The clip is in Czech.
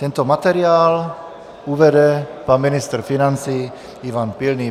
Tento materiál uvede pan ministr financí Ivan Pilný.